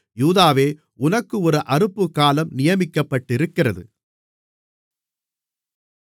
யூதாவே உனக்கு ஒரு அறுப்புக்காலம் நியமிக்கப்பட்டிருக்கிறது